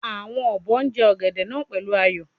Awon obo je ogede naa pelu ayo